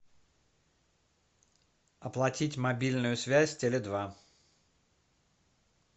оплатить мобильную связь теле два